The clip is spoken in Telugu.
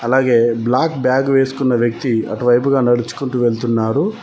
అలాగే బ్లాక్ బ్యాగ్ వేసుకున్న వ్యక్తి అటువైపుగా నడుచుకుంటూ వెళ్తున్నారు.